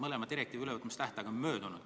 Mõlema direktiivi ülevõtmise tähtaeg on möödunud.